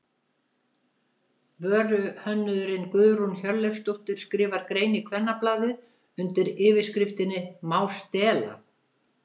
Vöruhönnuðurinn Guðrún Hjörleifsdóttir skrifar grein í Kvennablaðið undir yfirskriftinni Má stela?